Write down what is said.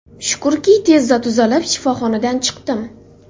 Shukrki, tezda tuzalib, shifoxonadan chiqdim.